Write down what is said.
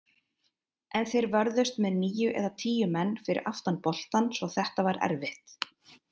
En þeir vörðust með níu eða tíu menn fyrir aftan boltann svo þetta var erfitt.